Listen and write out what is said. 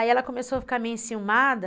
Aí ela começou a ficar meio enciumada.